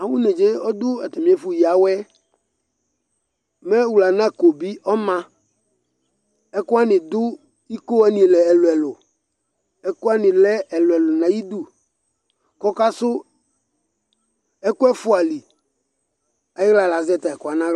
Awʋ nedzǝ yɛ ɔdʋ atamɩ ɛfʋ yǝ awɛ yɛ Mɛ wlanako bɩ ɔma Ɛkʋwanɩ dʋ ikowanɩ li ɛlʋɛlʋ ,ɛkʋwanɩ lɛ ɛlʋɛlʋ n'ayidu K'ɔka sʋ ɛkʋ ɛfʋa li ,ayɩɣla lazɛ tayɛ ɛkʋwanɩ n'aɣla